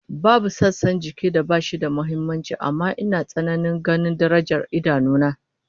Babu sassan jikin da bashi da muhimmanci amma ina tsananin ganin darajar idanu na